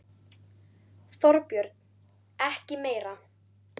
Þorbjörn: Ekki meira?